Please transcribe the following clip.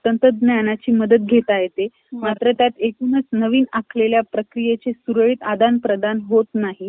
एक हो हो. ठीके! चालेल मग.